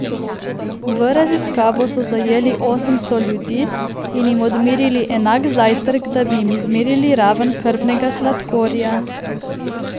V raziskavo so zajeli osemsto ljudi in jim odmerili enak zajtrk, da bi jim izmerili raven krvnega sladkorja.